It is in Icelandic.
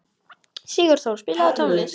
Sigurþór, spilaðu tónlist.